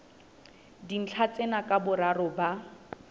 dintlha tsena ka boraro ba